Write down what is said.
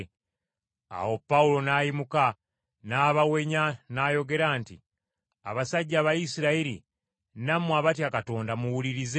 Awo Pawulo n’ayimuka, n’abawenya n’ayogera nti, “Abasajja Abayisirayiri, nammwe abatya Katonda, muwulirize!